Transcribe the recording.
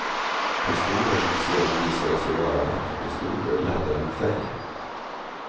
Pistoler som sedan visade sig vara vattenpistoler laddade med färg.